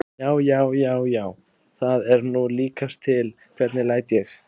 JÁ, JÁ, JÁ, JÁ, ÞAÐ ER NÚ LÍKAST TIL, HVERNIG LÆT ÉG!